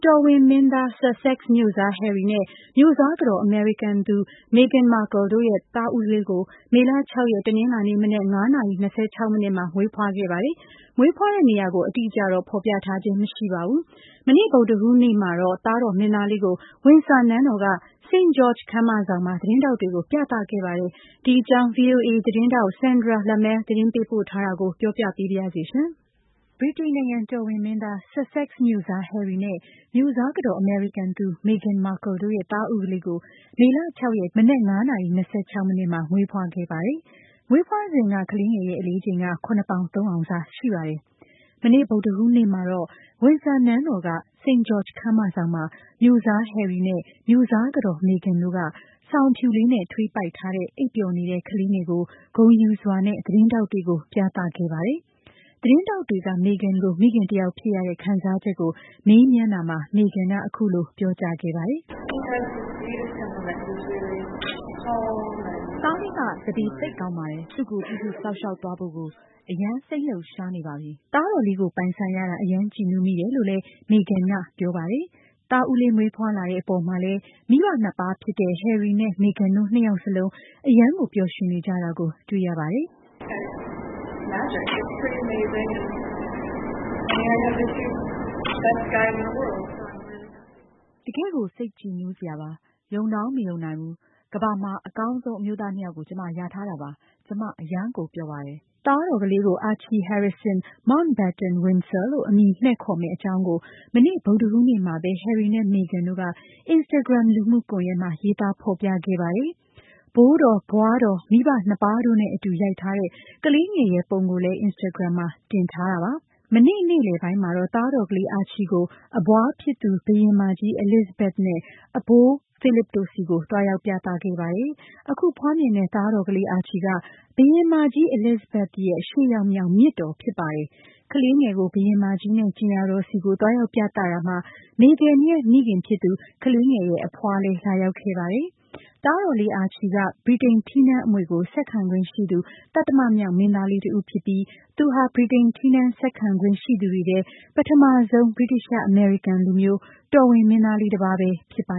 တော်ဝင်မင်းသား Sussex မြို့စား Harry နဲ့ မြို့စားကတော် အမေရိကန်သူ Meghan Markle တို့ ရဲ့ သားဦးလေးကို မေလ ၆ ရက် တနင်္လာနေ့ မနက် ၅ နာရီ ၂၆ မိနစ်မှာ မွေးဖွားခဲ့ပါတယ်။ မွေးဖွားတဲ့ နေရာကိုတော့ အတိအကျ ဖော်ပြခြင်း မရှိပါဘူး။ မနေ့ ဗုဒ္ဓဟူး နေ့မှာတော့ သားတော် မင်းသားလေးကို ဝင်ဆာနန်းတော် က St. George ခန်းမဆောင်မှာ သတင်းထောက်တွေကို ပြသခဲ့ပါတယ်။ ဒီအကြောင်း VOA သတင်းထောက် Sandra Lemaire သတင်းပေးပို့ထားတာကို မမြသဇင်အောင် က ပြောပြပေးပါမယ်။ ဗြိတိန်နိုင်ငံ တော်ဝင်မင်းသား Sussex မြို့စား Harry နဲ့ မြို့စားကတော် အမေရိကန်သူ Meghan Markle တို့ရဲ့ သားဦးလေးကို မေလ ၆ ရက် တနင်္လာနေ့က ဖွားမြင်ခဲ့ပြီး မွေးဖွားစဉ် ကလေးငယ်ရဲ့ အလေးချိန်က ၇ ပေါင် ၃ အောင်စ ရှိပါတယ်။ မနေ့ ဗုဒ္ဓဟူးနေ့ မှာတော့ ဝင်ဆာနန်းတော်က St. George ခန်းမဆောင်မှာ မြို့စား Harry နဲ့ မြို့စားကတော် Meghan တို့က စောင်အဖြူလေး နဲ့ထွေးပိုက်ထားတဲ့အိပ်ပျော်နေတဲ့ ကလေးငယ်ကို သတင်းထောက်တွေကို ဂုဏ်ယူစွာနဲ့ ပြသခဲ့ပါတယ်။ သတင်းထောက်တွေက Meghan ကို မိခင်တယောက်ဖြစ်ရတဲ့ အပေါ်မေးမြန်းတာမှာ Meghan က “ သားလေးက သန္ဓေ သိပ်ကောင်းပါတယ်။ သူ့ကို ပြုစုစောင့်ရှောက် သွားဖို့ကို အရမ်း စိတ်လှုပ်ရှားနေပါပြီ။ ” သားတော်လေးကို ပိုင်ဆိုင်ရတာ အရမ်း ကြည်နူးမိတယ်လို့ လည်း Meghan က ပြောပါတယ်။ သားဦးလေး မွေးဖွားလာတဲ့ အပေါ်မှာလည်း မိဘ နှစ်ပါးဖြစ်တဲ့ Harry နဲ့ Meghan တို့ နှစ်ယောက်လုံး အရမ်းကို ပျော်ရွှင်နေကြတာကို တွေ့ရပါတယ်။ “ တကယ်ကို စိတ်ကြည်နူးစရာပါ။ ယုံတောင်မယုံနိုင်ဘူး။ ကမ္ဘာမှာ အကောင်းဆုံး အမျိုးသား ၂ ယောက်ကို ကျွန်မ ရထားတာပါ။ ကျွန်မ အရမ်းကို ပျော်ပါတယ်။ ” သားတော်လေး ကို Archie Harrison Mountbatten-Windsor လို့ အမည်မှည့်ခေါ်မယ့် အကြောင်းကို မနေ့ ဗုဒ္ဓဟူးနေ့မှာ ပဲ Harry နဲ့ Meghan တို့က Instagram လူမှုကွန်ယက် မှာ ရေးသား ဖော်ပြခဲ့ပါတယ်။ ဘိုးတော်၊ ဘွားတော်၊ မိဘ ၂ ပါးတို့နဲ့ အတူ ရိုက်ထားတဲ့ ကလေးငယ်ရဲ့ ပုံကို လည်း Instagram မှာ တင်ထားတာပါ။ မနေ့ နေ့လည်ပိုင်းမှာတော့ သားတော်ကလေးကို အဘွားဖြစ်သူ ဘုရင်မကြီး Elizabethနဲ့ အဘိုး Philip တို့ဆီ သွားရောက်ပြသခဲ့ပါတယ်။ အခုဖွားမြင်တဲ့ သားတော်လေး Archie က ဘုရင်မကြီး Elizabethရဲ့ ၈ ယောက်မြောက် မြစ်တော်ဖြစ်ပါတယ်။ ကလေးငယ်ကို ဘုရင်မကြီးနဲ့ ကြင်ယာတော်ဆီ သွားရောက်ပြသတာမှာ Meghan ရဲ့ မိခင်ဖြစ်သူ ကလေးငယ်ရဲ့ အဖွားလည်း လာရောက်ခဲ့ပါတယ်။ သားတော်လေး Archie က က ဗြိတိန် ထီးနန်း အမွေကို ဆက်ခံခွင့်ရှိသူ သတ္တမမြောက်မင်းသားလေး တဦးဖြစ်ပြီး သူဟာ ဗြိတိန် ထီးနန်း ဆက်ခံခွင့် ရှိသူတွေထဲ ပထမဆုံး ဗြိတိသျှ - အမေရိကန် လူမျိုး တော်ဝင်မင်းသားလေး တပါးပဲ ဖြစ်ပါ